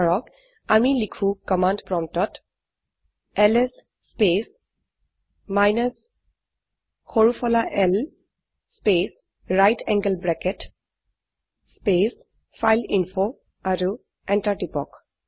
ধৰক আমি লিখো কমান্ড প্ৰম্পটত এলএছ স্পেচ মাইনাছ সৰু ফলা l space right angle bracket space file a info আৰু এন্টাৰ টিপক